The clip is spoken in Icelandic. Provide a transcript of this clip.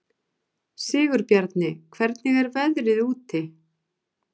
Sigurbjarni, hvernig er veðrið úti?